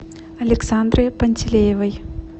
александры пантелеевой